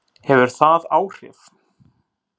Hefur það áhrif?